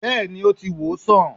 bẹẹni, o ti wosan